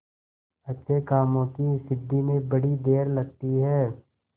अच्छे कामों की सिद्धि में बड़ी देर लगती है